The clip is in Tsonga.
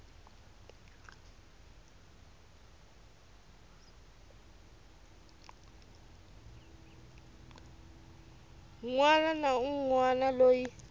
wana na un wana loyi